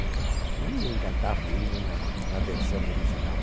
Ninguém cantava o hino na na versão original.